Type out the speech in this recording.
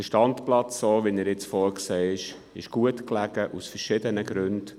Der Standplatz, so wie er jetzt vorgesehen ist, ist gut gelegen, aus verschiedenen Gründen.